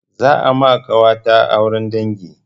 Za a ma ƙawata auren dangi.